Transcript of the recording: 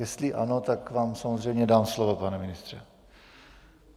Jestli ano, tak vám samozřejmě dám slovo, pane ministře.